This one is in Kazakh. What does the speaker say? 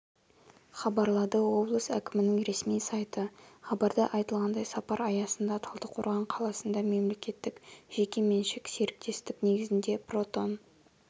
хабарлады облыс әкімінің ресми сайты хабарда айтылғандай сапар аясында талдықорған қаласында мемлекеттік-жекеменшік серіктестік негізінде протон